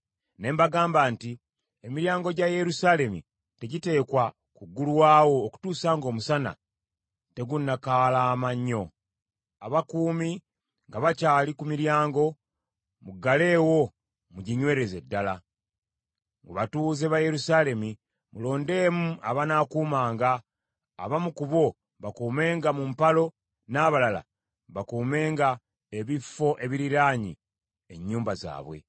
Ne mbagamba nti, “Emiryango gya Yerusaalemi tegiteekwa kuggulwawo okutuusa ng’omusana tegunnakaalama nnyo. Abakuumi nga bakyali ku miryango, muggaleewo muginywereze ddala. Mu batuuze ba Yerusaalemi, mulondemu abanaakuumanga, abamu ku bo bakuumenga mu mpalo n’abalala bakuumenga ebifo ebiriraanye ennyumba zaabwe.”